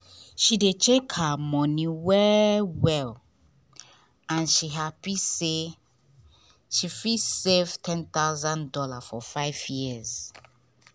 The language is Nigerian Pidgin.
she dey check her money well well and she happy say she fit save one thousand dollars0 for five years.